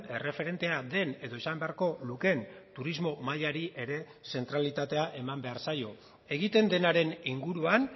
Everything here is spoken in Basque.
erreferentea den edo izan beharko lukeen turismo mailari ere zentralitatea eman behar zaio egiten denaren inguruan